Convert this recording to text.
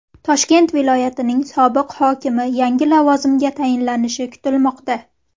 Toshkent viloyatining sobiq hokimi yangi lavozimga tayinlanishi kutilmoqda.